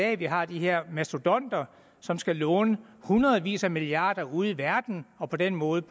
at vi har de her mastodonter som skal låne hundredvis af milliarder ude i verden og på den måde